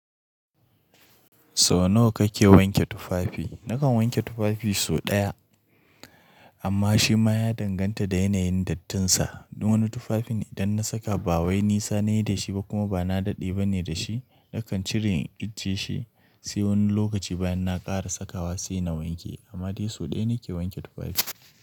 So nawa kake wanke tufafi? Nakan wanke tufafi so daya, amma shi ma ya danganta da yanayin dattinsa. Wani tufafin idan na saka ba wai nisa nayi da shi ba kuma ba na daɗi bane da shi, nakan cire in tisheh sai wani lokaci bayan na ƙara sakawa sai na wanke. Amma dai so daya nake wanke tufafi.